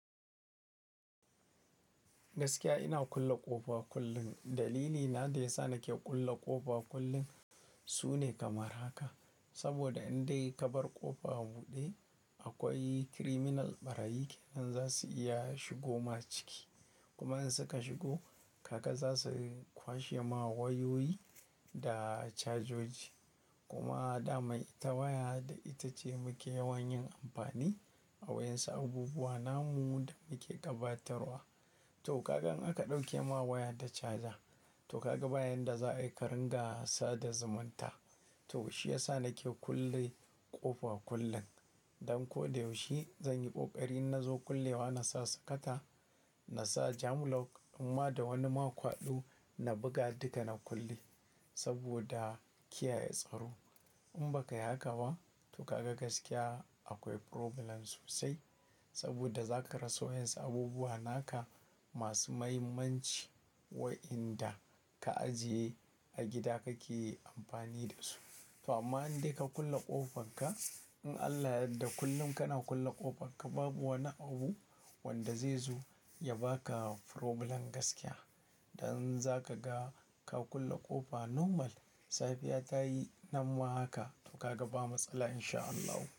Gaskiya ina kulle ƙofa kullum. Dalili na da yasa nake kulle ƙofa kullum sune kamar haka. Saboda in dai ka bar ƙofa buɗe, akwai criminal ɓarayyi kenan za su iya shigoma ciki. Kuma in suka shigo, kaka za su kwashe ma wayoyi da cajoji. Kuma dama ita waya da ita ce muke yawan yin amfani a wayan su abubuwa namu da muke gabatarwa. To kaga in aka ɗauke ma waya da caja. To kaga bayan da za a yi ƙaringa sa da zumunta. To shi yasa nake kulle ƙofa kullum. Don ko da yaushe zan yi ƙoƙari in na zo kullewa na sa sakata, na sa jam lock in ma da wani ma kwaɗo na buga duka na kulle saboda kiyaye tsaro. In baka yi haka ba to kaga gaskiya akwai problem sosai. Saboda za ka rasa wayan su abubuwa naka masu mahimmanci wa inda ka ajiye a gida kake amfani da su. To amma in dan ka kulle ƙofar ka, in Allah yadda kullum kana kulle ƙofar ka babu wani abu wanda zai zo ya baka problem gaskiya. Dan za ka ga ka kulle ƙofa normal, safiya ta yi nan ma haka to kaga ba matsala in sha Allah.